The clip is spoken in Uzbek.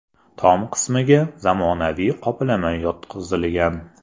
Tom qismiga zamonaviy qoplama yotqizilgan.